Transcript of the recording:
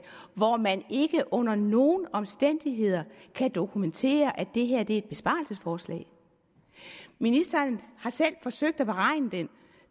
hvor man ikke under nogen omstændigheder kan dokumentere at det er et besparelsesforslag ministeren har selv forsøgt at beregne den